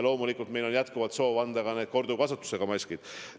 Loomulikult meil on jätkuvalt soov anda ka need korduvkasutusega maskid.